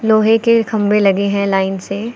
लोहे के खंभे लगे हैं लाइन से।